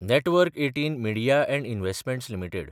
network १८ media & investments limited